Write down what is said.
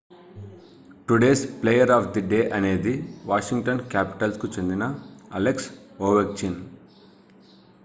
today's player of the day అనేది Washington Capitals కు చెందిన అలెక్స్ ఓవెచ్కిన్